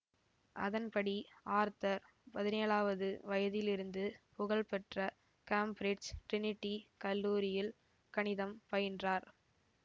அதன்படி ஆர்தர் பதினேழாவது வயதிலிருந்து புகழ்பெற்ற கேம்பிரிட்ஜ் ட்ரினிடி கல்லூரியில் கணிதம் பயின்றார்